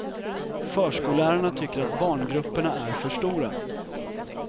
Förskollärarna tycker att barngrupperna är för stora.